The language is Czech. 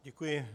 Děkuji.